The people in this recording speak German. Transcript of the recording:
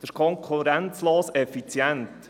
Das ist konkurrenzlos effizient.